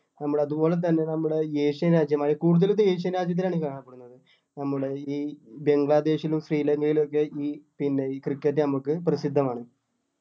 നമ്മള് അതുപോലെ തന്നെ നമ്മുടെ ഈ Asian രാജ്യമായ കൂടുതലും Asian രാജ്യത്തിലാണ് ഇത് കാണപ്പെടുന്നത്. ഒന്നൂടെ ഈ ബംഗ്ലാദേശിലും ശ്രീലങ്കയിലും ഒക്കെ ഈ പിന്നെ cricket നമുക്ക് പ്രസിദ്ധമാണ്.